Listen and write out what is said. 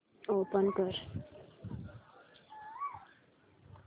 open कर